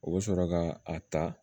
O bɛ sɔrɔ ka a ta